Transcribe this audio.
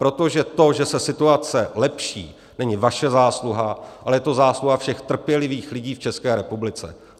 Protože to, že se situace lepší, není vaše zásluha, ale je to zásluha všech trpělivých lidí v České republice.